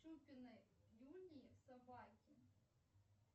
юнии собаки